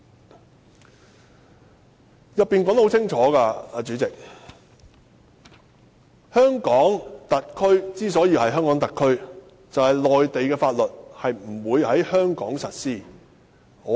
"代理主席，條文已經寫得很清楚，香港特區之所以是香港特區，就是內地法律不會在香港實施。